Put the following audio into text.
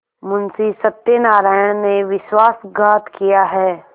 मुंशी सत्यनारायण ने विश्वासघात किया है